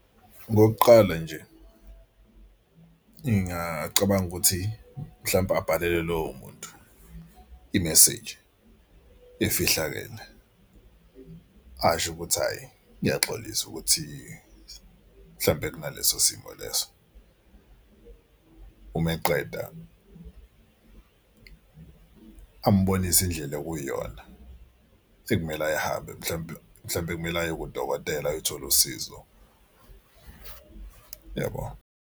Okokuqala nje ngingacabanga ukuthi mhlawumbe abhalele lowo muntu imeseji efihlakele asho ukuthi hhayi ngiyaxolisa ukuthi mhlawumpe kunaleso simo leso. Uma eqeda ambonise indlela ekuyiyona ekumele ayihambe mhlawumbe mhlawumbe kumele aye kudokotela ayothola usizo yabo.